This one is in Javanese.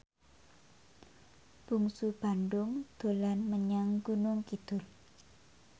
Bungsu Bandung dolan menyang Gunung Kidul